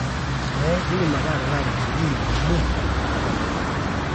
eeh indim ake atalaa ropiyani iip nabo te nkolong